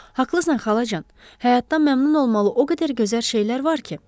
Haqlısan xalacan, həyatdan məmnun olmalı o qədər gözəl şeylər var ki.